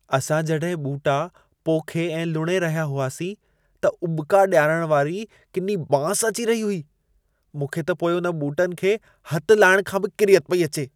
असां जॾहिं ॿूटा पोखे ऐं लुणे रहिया हुआसीं, त उॿिका ॾियारण वारी किनी बांस अची रही हुई। मूंखे त पोइ उन ॿूटनि खे हथ लाइण खां बि किरियत पेई अचे।